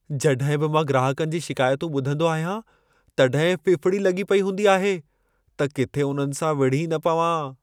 जॾहिं बि मां ग्राहकनि जी शिकायतूं ॿुधंदो आहियां, तॾहिं फ़िफ़िड़ी लॻी पई हूंदी आहे त किथे उन्हनि सां विड़ही न पवां।